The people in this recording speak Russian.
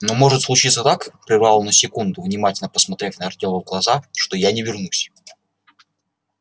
но может случиться так прервался он на секунду внимательно посмотрев на артема глаза что я не вернусь